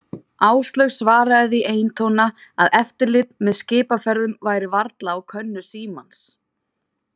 Áslaug svaraði því eintóna að eftirlit með skipaferðum væri varla á könnu Símans.